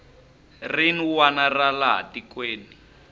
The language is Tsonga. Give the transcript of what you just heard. rin wana ra laha tikweni